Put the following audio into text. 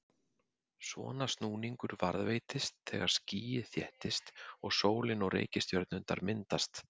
Svona snúningur varðveitist þegar skýið þéttist og sólin og reikistjörnurnar myndast.